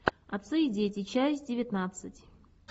отцы и дети часть девятнадцать